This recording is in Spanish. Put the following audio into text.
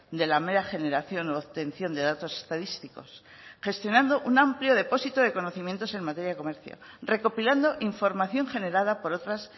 de la mera generación u obtención de datos estadísticos gestionando un amplio depósito de conocimientos en materia de comercio recopilando información generada por otras